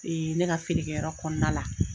ne ka feere kɛyɔrɔ kɔnɔna la.